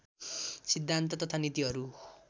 सिद्धान्त तथा नीतिहरू